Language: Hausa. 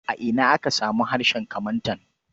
A ina ake samun harshen Kamantan?